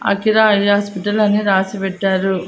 Akira alias అని రాసి పెట్టారు.